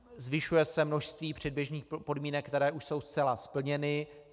Zvyšuje se množství předběžných podmínek, které už jsou zcela splněny.